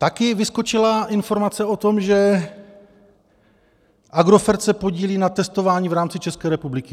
Také vyskočila informace o tom, že Agrofert se podílí na testování v rámci České republiky.